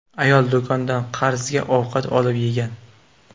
Ayol do‘kondan qarzga ovqat olib yegan.